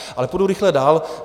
Ale půjdu rychle dál.